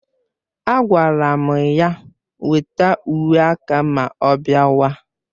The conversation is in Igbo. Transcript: Agwara m ya weta uwe aka ma ọ bịawa